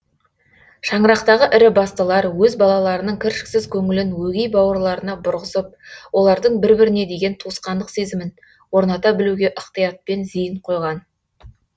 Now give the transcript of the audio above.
шаңырақтағы ірі бастылар өз балаларының кіршіксіз көңілін өгей бауырларына бұрғызып олардың бір біріне деген туысқандық сезімін орната білуге ықтиятпен зейін қойған